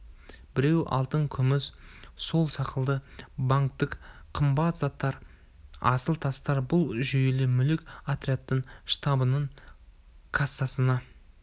біреуі алтын күміс сол сықылды банктік қымбат заттар асыл тастар бұл жүйелі мүлік отрядтың штабының кассасына